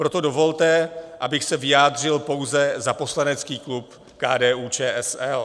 Proto dovolte, abych se vyjádřil pouze za poslanecký klub KDU-ČSL.